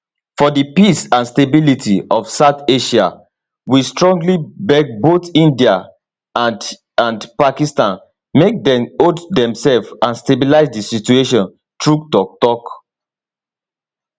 for di peace and stability of south asia we strongly beg both india and and pakistan make dem hold demsef and stabilise di situation through toktok